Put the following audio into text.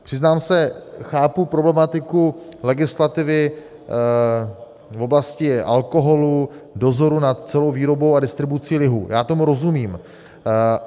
Přiznám se, chápu problematiku legislativy v oblasti alkoholu, dozoru nad celou výrobou a distribucí lihu, já tomu rozumím.